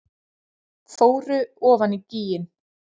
Fóru ofan í gíginn